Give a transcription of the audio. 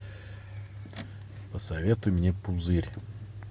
посоветуй мне пузырь